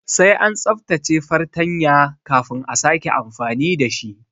Sai an tsaftace fartanya kafin a sake amfani dashi